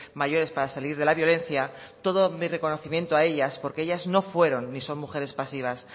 mayores para salir de la violencia todo mi reconocimiento a ellas porque ellas no fueron ni son mujeres pasivas